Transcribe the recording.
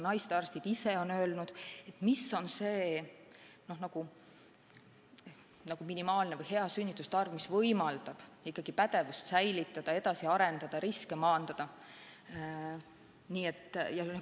Naistearstid ise on öelnud, kui suur on minimaalne või optimaalne sünnituste arv, mis võimaldab pädevust hoida, edasi areneda, riske maandada.